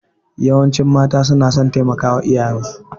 Yawancin mata na son taimakawa iyayensu.